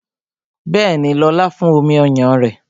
Bẹẹni, lóla fún omi ọyàn rẹ